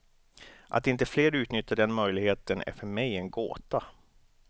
Att inte fler utnyttjar den möjligheten är för mig en gåta.